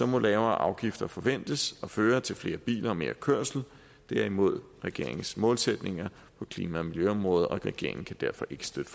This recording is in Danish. må lavere afgifter forventes at føre til flere biler og mere kørsel det er imod regeringens målsætninger på klima og miljøområdet og regeringen kan derfor ikke støtte